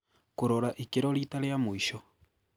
Kũrora ikĩro rita rĩa mũico.